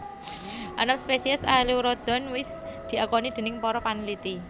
Enem spésiès Aelurodon wis diakoni déning para panliti